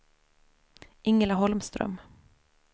Ingela Holmström